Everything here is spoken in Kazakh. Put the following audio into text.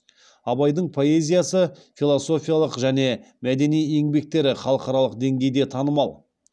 абайдың поэзиясы философиялық және мәдени еңбектері халықаралық деңгейде танымал